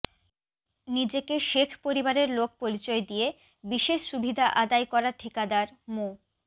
নিজেকে শেখ পরিবারের লোক পরিচয় দিয়ে বিশেষ সুবিধা আদায় করা ঠিকাদার মো